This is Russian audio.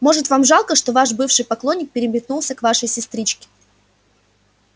может вам жалко что ваш бывший поклонник переметнулся к вашей сестричке